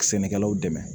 Sɛnɛkɛlaw dɛmɛ